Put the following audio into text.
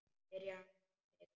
Byrjar á nýjum bikar.